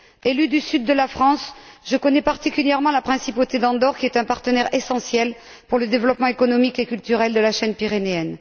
Élue du sud de la France, je connais particulièrement la principauté d'Andorre, qui est un partenaire essentiel pour le développement économique et culturel de la chaîne pyrénéenne.